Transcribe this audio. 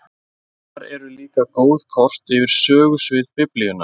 Þar eru líka góð kort yfir sögusvið Biblíunnar.